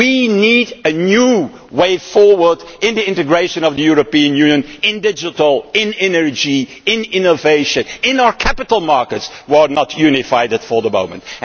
We need a new way forward in the integration of the European Union, in digital, in energy, in innovation and in our capital markets, which are not unified at the moment.